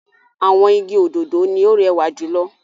Àwọn igi òdòdó ni ó rẹwà jù lọ.